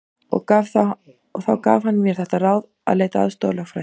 Og þá gaf hann mér þetta ráð að leita aðstoðar lögfræðings.